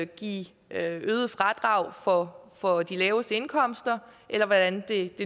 give øget fradrag for for de laveste indkomster eller hvordan det